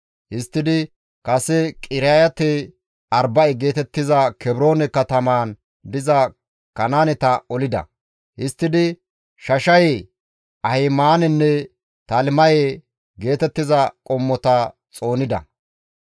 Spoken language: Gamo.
Histtidi kase Qiriyaate-Arba7e geetettiza Kebroone katamaan diza Kanaaneta olida; qasse Shashaye, Ahimaanenne Talimaye geetettiza qommota xoonida.